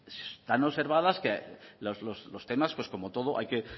están observadas que los temas como todo hay que